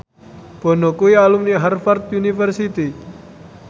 Bono kuwi alumni Harvard university